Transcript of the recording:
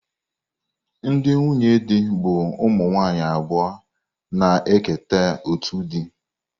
Ndị nwunye di bụ ụmụ nwanyị abụọ na-eketa otu di.